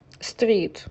стрит